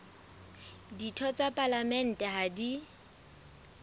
ditho tsa palamente ha di